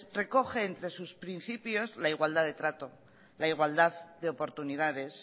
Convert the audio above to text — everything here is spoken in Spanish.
recoge entre sus principios la igualdad de trato la igualdad de oportunidades